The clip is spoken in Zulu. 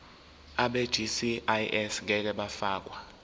abegcis ngeke bafakwa